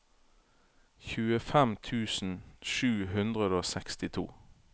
tjuefem tusen sju hundre og sekstito